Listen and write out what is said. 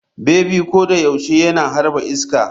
Bebi ko da yaushe yana harba iska.